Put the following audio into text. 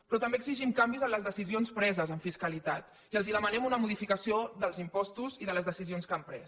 però també exigim canvis en les decisions preses en fiscalitat i els demanem una modificació dels impostos i de les decisions que han pres